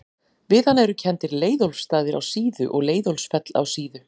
Við hann eru kenndir Leiðólfsstaðir á Síðu og Leiðólfsfell á Síðu.